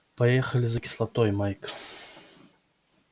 поехали за кислотой майк